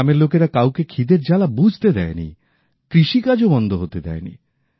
গ্রামের লোকেরা কাউকে খিদের জ্বালা বুঝতে দেয়নি কৃষিকাজও বন্ধ হতে দেয়নি